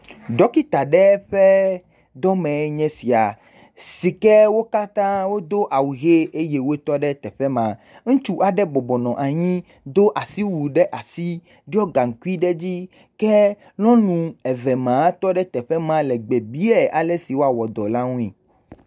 Ɖɔkita ɖe ƒe dɔmee nye sia si ke wo katã wo do awu ʋi eye wotɔ ɖe teƒe ma. Ŋutsu aɖe bɔbɔ nɔ anyi do asi wui ɖiɔ asi ɖo gaŋkui ɖe edzi ke nyɔnu eve ma tɔ ɖe teƒe ma le gbe biae ale si wɔa wɔ edɔ la ŋuie.